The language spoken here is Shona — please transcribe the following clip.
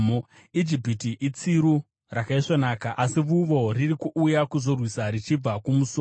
“Ijipiti itsiru rakaisvonaka, asi vuvo riri kuuya kuzorwisa richibva kumusoro.